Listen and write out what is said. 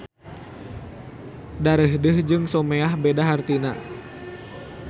Darehdeh jeung someah beda hartina